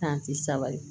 sabali